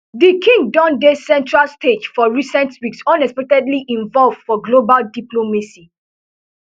di king don dey centrestage for recent weeks unexpectedly involve for global diplomacy